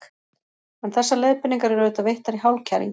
En þessar leiðbeiningar eru auðvitað veittar í hálfkæringi.